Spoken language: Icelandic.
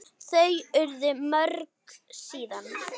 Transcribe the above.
Þau urðu mörg síðan.